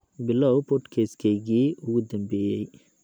bilow podcast-keygii ugu dambeeyay